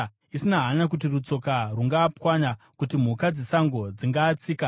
isina hanya kuti rutsoka rungaapwanya, kana kuti mhuka dzesango dzingaatsika.